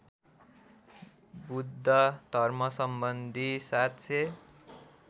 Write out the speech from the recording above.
बुद्ध धर्मसम्बन्धी ७००